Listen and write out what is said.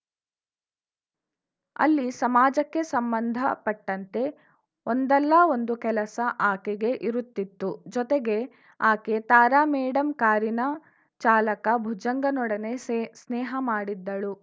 ಅಲ್ಲಿ ಸಮಾಜಕ್ಕೆ ಸಂಬಂಧ ಪಟ್ಟಂತೆ ಒಂದಲ್ಲ ಒಂದು ಕೆಲಸ ಆಕೆಗೆ ಇರುತ್ತಿತ್ತು ಜೊತೆಗೆ ಆಕೆ ತಾರಾ ಮೇಡಂ ಕಾರಿನ ಚಾಲಕ ಭುಜಂಗನೊಡನೆ ಸೇ ಸ್ನೇಹ ಮಾಡಿದ್ದಳು